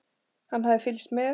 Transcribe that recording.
Hann hafði fylgst með